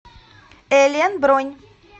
элен бронь